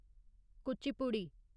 Kuchipudi